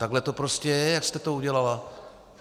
Takhle to prostě je, jak jste to udělala.